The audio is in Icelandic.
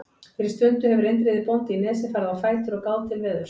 Fyrir stundu hefur Indriði bóndi í Nesi farið á fætur og gáð til veðurs.